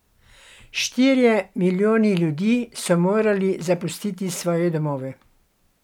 Štirje milijoni ljudi so morali zapustiti svoje domove.